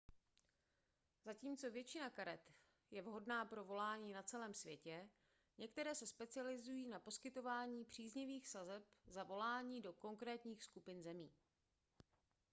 zatímco většina karet je vhodná pro volání na celém světě některé se specializují na poskytování příznivých sazeb za volání do konkrétních skupin zemí